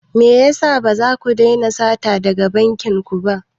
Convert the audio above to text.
Me yasa ba za ku daina sata daga bankin ku ba?